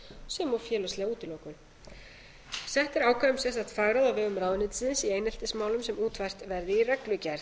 sem og félagslega útilokun sett er ákvæði um sérstakt fagráð á vegum ráðuneytisins í eineltismálum sem útfært verði í reglugerð